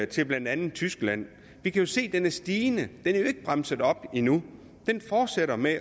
til blandt andet tyskland vi kan se den er stigende er jo ikke bremset op endnu den fortsætter med